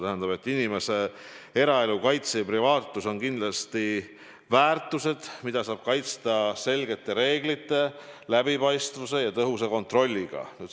Tähendab, et inimese eraelu kaitse ja privaatsus on kindlasti väärtused, mida saab kaitsta selgete reeglite, läbipaistvuse ja tõhusa kontrolliga.